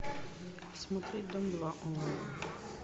смотреть дом два онлайн